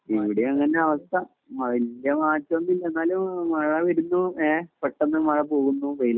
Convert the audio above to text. ഇവിടെയും അങ്ങനെ തന്നെ അവസ്ഥ വലിയ മാറ്റം ഒന്നും ഇല്ല മഴവരുന്നു പെട്ടെന്ന് മഴ പോകുന്നു വെയിൽ ആവുന്നു